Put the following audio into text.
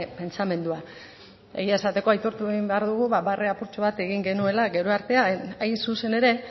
pentsamendua egia esateko aitortu egin behar dugu barre apurtxo bat egin genuela gero hain zuzen ere